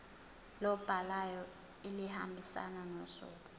lobhalayo elihambisana nosuku